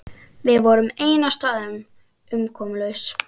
Við vorum ein á staðnum, umkomulaus.